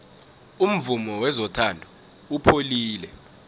umvumo wezothando upholile